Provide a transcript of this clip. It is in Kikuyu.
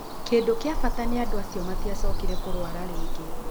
Kĩndũ kĩa bata nĩ andũ acio matiacokire kũrwara rĩngĩ